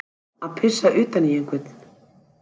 Að pissa utan í einhvern